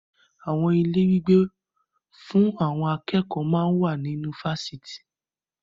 Àwọn ilé ìgbé fún àwọn akẹ́kọ̀ máa ń wà nínú Fásitì